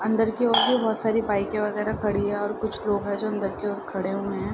अंदर की ओर और भी बहुत सारी बाइकें वगेरह खड़ी हैं और कुछ लोग हैं जो अंदर की ओर खड़े हुए हैं।